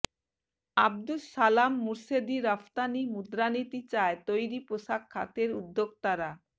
আবদুস সালাম মুর্শেদীরফতানি মুদ্রানীতি চায় তৈরি পোশাক খাতের উদ্যোক্তারা